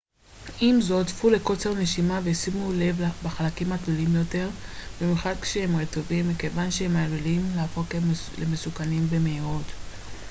עם זאת צפו לקוצר נשימה ושימו לב בחלקים התלולים יותר במיוחד כשהם רטובים מכיוון שהם עלולים להפוך למסוכנים במהירות